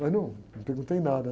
Mas não, não perguntei nada.